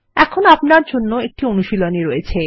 এখন আপনার জন্য একটি অনুশীলনী রয়েছে